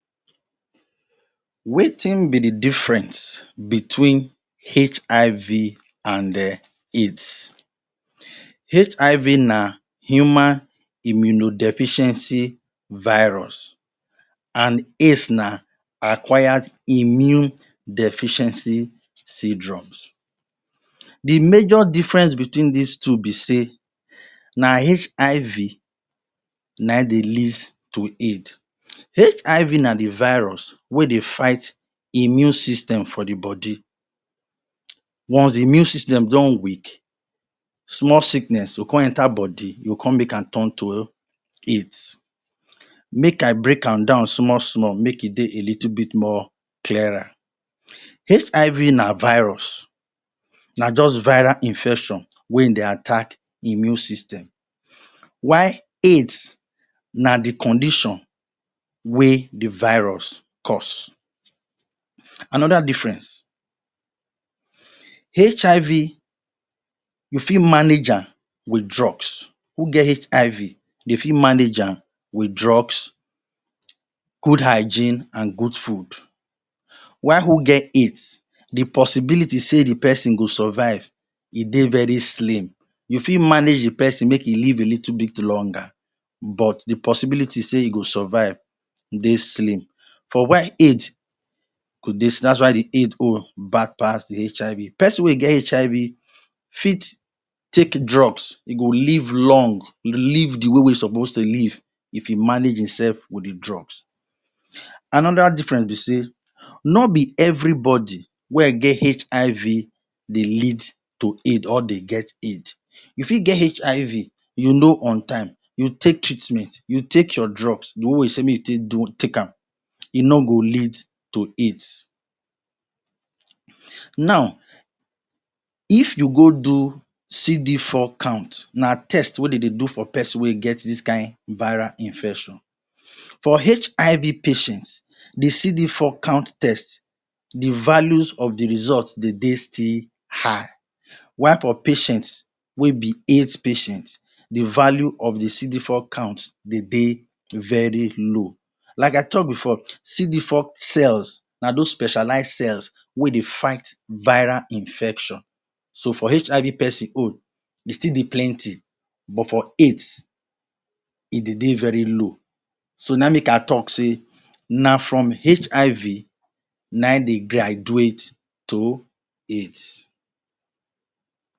Wetin be the difference between HIV and um AIDS? HIV na human immuno-deficiency virus and AIDS na acquired immune deficiency syndromes. The major differences between these two be say na HIV na in they leads to AIDS. HIV na the virus wey dey fight immune system for the body, once immune system don weak, small sickness go come enter body e go come make am tun to AIDs. Make I break am down small small make e dey a little bit clearer. HIV na virus, na just viral infection wey dey attack immune system, while AID na the condition wey the virus cause. Another difference, HIV you fit manage am with drugs who get HIV they fit manage am with drugs, good hygiene, good food, while who get AIDs the possibility sey the person go survive e dey very slim, you fit manage the person make e live a little bit longer but the possibility sey e go survive e dey slim for while AID that is why the AID own bad pass the HIV. Person wey get HIV fit take drug, e go live long, e go live the way wey e dey take live if e manage himself with the drugs. Another difference be sey no be everybody wey get HIV they lead to AID or dey get AID, you fit get HIV you know on time you take treatment you take your drugs the way wey say make you take am e no go lead to AIDs Now, if you go do CD4 count, na test wey de dey do for person wey get this kain viral infection, for HIV patients, the CD4 count test the values of the result de dey still high while patient wey be AID patient, the value of the CD4 count de dey low. Like I talk before, CD4 cells na those specialize cells wey they fight viral infection, so for HIV person own e still dey plenty but for AIDS e dey dey very low na in make I talk sey na from HIV, na in dey graduate to AIDs